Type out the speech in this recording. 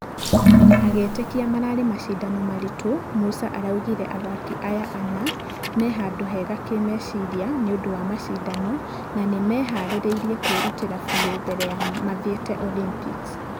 Agĩĩtekia mararĩ mashidano maritũ , musa araugire athaki aya ana mĩhandũ hega kĩmeciria nĩũndũ wa mashidano na nĩmehareirie kwĩrutĩra biũ mbere ya mathiete olympics.